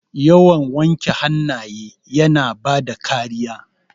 Yawan wanke hannaye yana bada kariya.